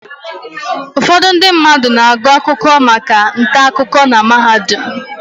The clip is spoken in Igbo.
Ụfọdụ ndị mmadụ na-agụ akwụkwọ maka ntaakụko na mahadum.